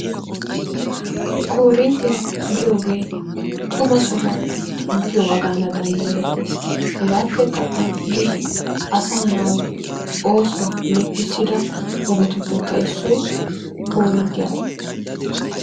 Koorinttiyaa giyoogee xuma sohuwan xomppana mala danddaayetees. Hege appekka all''idi asaa naa oosuwaaba leppissida ogetuppekka issoy koorinttiyaa.